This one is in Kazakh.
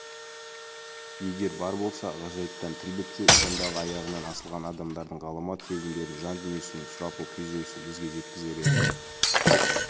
егер бар болса ғажайыптан тіл бітсе сондағы аяғынан асылған адамдардың ғаламат сезімдерін жан-дүниесінің сұрапыл күйзелісін бізге жеткізер еді